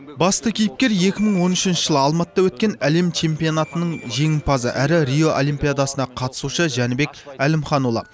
басты кейіпкер екі мың он үшінші жылы алматыда өткен әлем чемпионатының жеңімпазы әрі рио олимпидасына қатысушы жәнібек әлімханұлы